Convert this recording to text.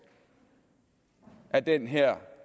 af den her